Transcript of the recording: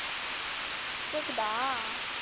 கேக்குதா